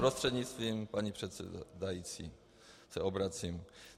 Prostřednictvím paní předsedající se obracím.